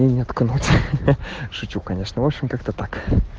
шучу конечно общем как-то так